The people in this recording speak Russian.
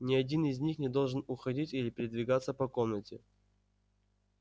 ни один из них не должен уходить или передвигаться по комнате